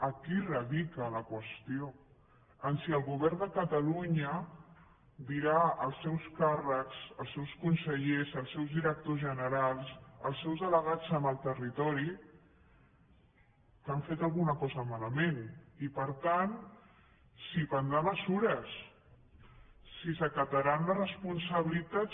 aquí radica la qüestió en si el govern de catalunya dirà als seus càrrecs als seus consellers als seus directors generals als seus delegats en el territori que han fet alguna cosa malament i per tant si prendrà mesures si s’acataran les responsabilitats